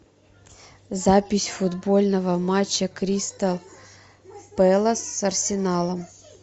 запись футбольного матча кристал пэлас с арсеналом